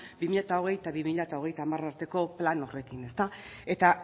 bi mila hogei eta bi mila hogeita hamar arteko plan horrekin ezta